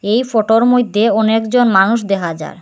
এই ফটোর মধ্যে অনেকজন মানুষ দেখা যার।